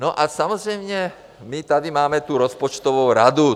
No a samozřejmě my tady máme tu rozpočtovou radu.